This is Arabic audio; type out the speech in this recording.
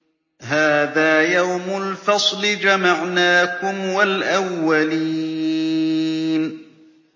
هَٰذَا يَوْمُ الْفَصْلِ ۖ جَمَعْنَاكُمْ وَالْأَوَّلِينَ